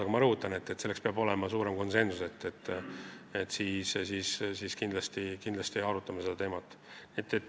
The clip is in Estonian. Aga ma rõhutan, et selleks peab olema suurem konsensus, siis me kindlasti arutame seda teemat.